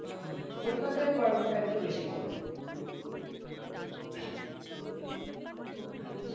হ্যাঁ কলকাতায় গরমটা একটু বেশি পরে আচ্ছা